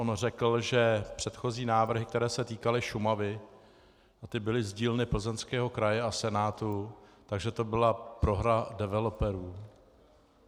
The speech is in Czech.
On řekl, že předchozí návrhy, které se týkaly Šumavy, a ty byly z dílny Plzeňského kraje a Senátu, že to byla prohra developerů.